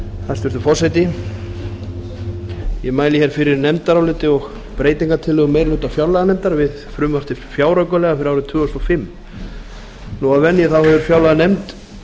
hæstvirtur forseti ég mæli hér fyrir nefndaráliti og breytingartillögum meiri hluta fjárlaganefndar við frumvarp til fjáraukalaga fyrir árið tvö þúsund og fimm að venju hefur fjárlaganefnd